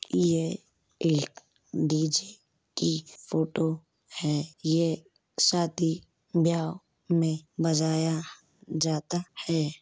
ये एक D J की फोटो है। ये शादी ब्याह में बजाया जाता है।